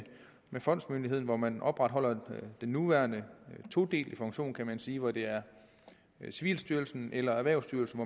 fondsmyndigheden hvor man opretholder den nuværende todeling af funktionen kan man sige hvor det er civilstyrelsen eller erhvervsstyrelsen